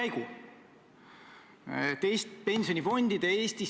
Eks me kõik tule kuskilt oma isiklikust kogemusest.